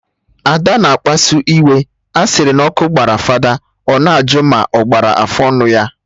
Ada na akpasu iwe, a sịrị na ọkụ gbara fada, ọ na ajụ ma ọ gbara afụ ọnụ ya